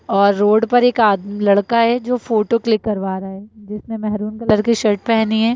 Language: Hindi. और रोड पर एक आद म लड़का है जो फोटो क्लिक करवा रहा है जिसने मेहरून कलर की शर्ट पहनी है।